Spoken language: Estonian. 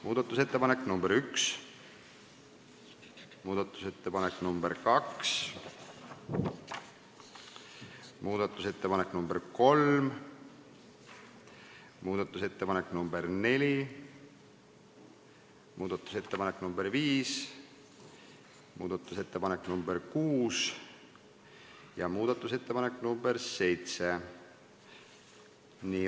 Muudatusettepanek nr 1, muudatusettepanek nr 2, muudatusettepanek nr 3, muudatusettepanek nr 4, muudatusettepanek nr 5, muudatusettepanek nr 6 ja muudatusettepanek nr 7.